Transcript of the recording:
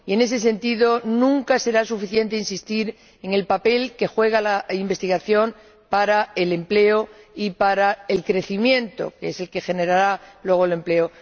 En ese sentido nunca será suficiente insistir en el papel que juega la investigación para el empleo y para el crecimiento, que es el que generará luego el empleo.